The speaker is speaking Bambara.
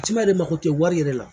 Ci ma de mako tiɲɛ wari yɛrɛ la